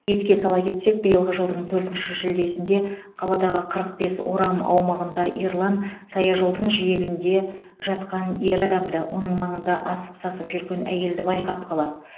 еске сала кетсек биылғы жылдың төртінші шілдесінде қаладағы қырық бес орам аумағында ерлан саяжолдың жиегінде жатқан ер адамды оның маңында асып сасып жүрген әйелді байқап қалады